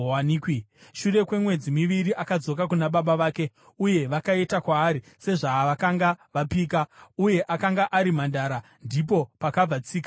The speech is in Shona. Shure kwemwedzi miviri akadzoka kuna baba vake uye vakaita kwaari sezvavakanga vapika. Uye akanga ari mhandara. Ndipo pakabva tsika yavaIsraeri